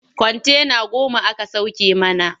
Kwantena goma aka sauke mana.